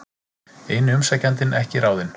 Eini umsækjandinn ekki ráðinn